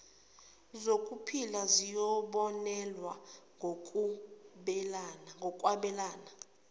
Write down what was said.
zokuphila ziyobonelelwa ngokwabelana